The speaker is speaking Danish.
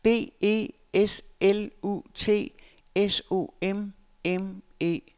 B E S L U T S O M M E